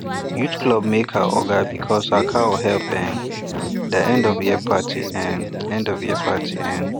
youth club make her oga because her cow help um their endofyear party um party um